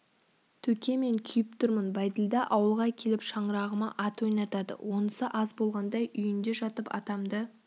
төке мен күйіп тұрмын бәйділда ауылға келіп шаңырағыма ат ойнатады онысы аз болғандай үйінде жатып атамды